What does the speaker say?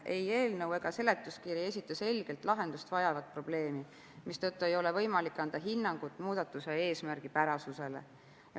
Ei eelnõu ega seletuskiri esita selgelt lahendust vajavat probleemi, mistõttu ei ole võimalik anda hinnangut muudatuse eesmärgipärasusele.